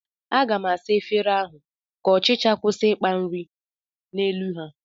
Aga m asa efere ahụ ka ọchịcha kwụsị ịkpa nri n'elu ha